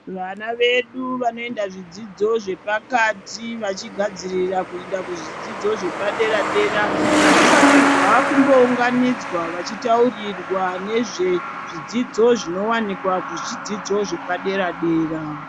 Vana vedu vanoenda kuzvidzidzo zvepakati vachigadzirira kuenda kuzvidzidzo zvepadera dera vanofanirwa kumbounganidzwa vachitaurirwa nezve zvidzidzo zvinowanikwa kuzvidzidzo zvepadera dera